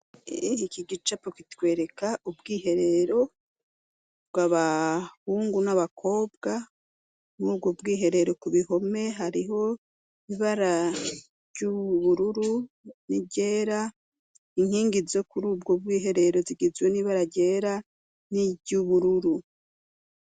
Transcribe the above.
Iki gicapo kitwereka ubwiherero bwabahungu n'abakobwa murubwo bwiherero ku bihome hariho ibara ry'ubururu n'iryera, inkingi zo kurubwo bw'iherero zigizwe n'ibara ryera n'iryubururu.